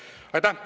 Aitäh!